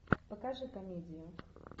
покажи комедию